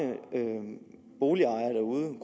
boligejere